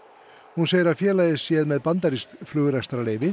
hún segir að félagið sé með bandarískt flugrekstrarleyfi